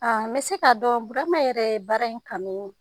A bɛ se kaa dɔn Burama yɛrɛ ye baara in kanuuu